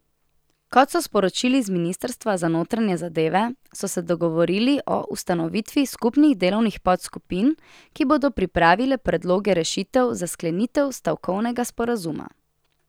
Kot so sporočili z ministrstva za notranje zadeve, so se dogovorili o ustanovitvi skupnih delovnih podskupin, ki bodo pripravile predloge rešitev za sklenitev stavkovnega sporazuma.